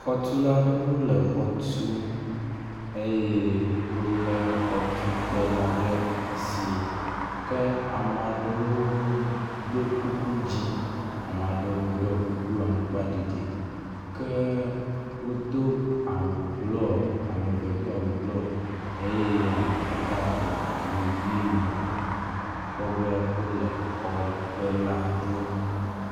xɔtulaɖewo le xɔtum eye wóle xɔtukpewo ɖe asi amaɖewo.ɖo kuku dzĩ amaɖewo ɖo kuku amgba ɖiɖi ke wodó awu blɔ ameve do awu blɔ ye ameɖeka le awu yi me wóle xɔtukpe la ɖom